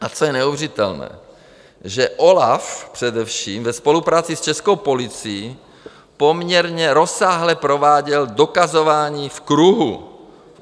A co je neuvěřitelné, že OLAF především ve spolupráci s českou policií poměrně rozsáhle prováděl dokazování v kruhu.